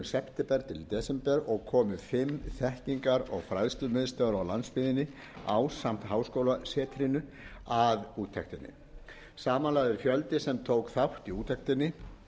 september til desember og komu fimm þekkingar og fræðslumiðstöðvar á landsbyggðinni ásamt háskólasetrinu að úttektinni samanlagður fjöldi sem tók þátt í úttektinni